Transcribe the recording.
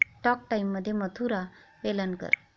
talk टाइममध्ये मधुरा वेलणकर